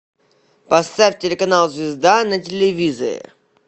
поставь телеканал звезда на телевизоре